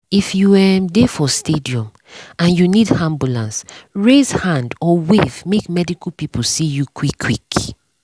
if you um dey for stadium and you need ambulance raise hand or wave make medical people see you quick um quick.